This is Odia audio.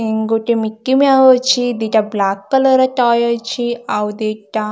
ଗୋଟେ ମିକି ମ୍ୟାଉ ଅଛି ଗୋଟେ ବ୍ଲାକ କଲର୍ ର ଟୟ ଅଛି ଆଉ ଦିଟା--